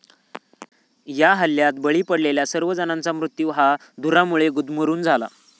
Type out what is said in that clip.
या हल्ल्यात बळी पडलेल्या सर्व जणांचा मृत्यू हा धुरामुळे गुदमरून झाला.